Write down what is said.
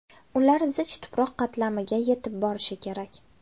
Ular zich tuproq qatlamiga yetib borishi kerak.